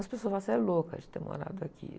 As pessoas falam, ah, você é louca de ter morado aqui.